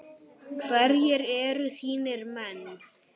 Hverjir eru þínir menn?